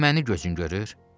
Elə məni gözün görür?